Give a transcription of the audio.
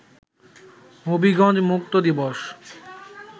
হবিগঞ্জ মুক্ত দিবস